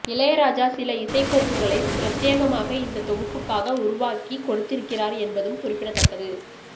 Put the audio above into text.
இளையராஜா சில இசைக்கோப்புகளை பிரத்யேகமாக இந்தத் தொகுப்புக்காக உருவாக்கி கொடுத்திருக்கிறார் என்பதும் குறிப்பிடத்தக்கது